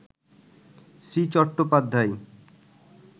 Shri Chattopadhyay